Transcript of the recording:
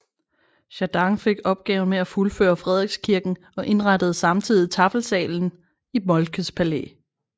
Jardin fik opgaven med at fuldføre Frederikskirken og indrettede samtidig taffelsalen i Moltkes Palæ